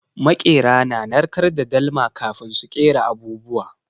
Maƙera suna narkar da dalma kafin su kera abubuwa.